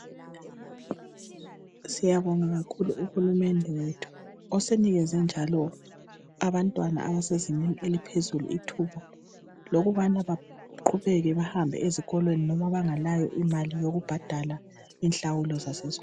Siyabonga kakhulu uhulumende wethu osenikeze njalo abantwana abasezingeni eliphezulu ithuba lokubana baqhubeke bahambe ezikolweni noma bengelayo imali yokubhadala inhlawulo zasesikolweni